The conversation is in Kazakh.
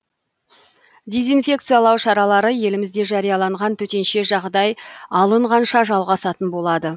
дезинфекциялау шаралары елімізде жарияланған төтенше жағдай алынғанша жалғасатын болады